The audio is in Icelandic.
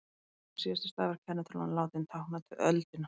þess vegna er síðasti stafur kennitölunnar látinn tákna öldina